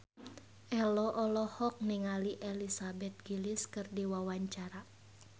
Ello olohok ningali Elizabeth Gillies keur diwawancara